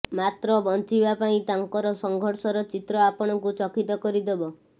ମାତ୍ର ବଞ୍ଚିବା ପାଇଁ ତାଙ୍କର ସଂଘର୍ଷର ଚିତ୍ର ଆପଣଙ୍କୁ ଚକିତ କରିଦେବ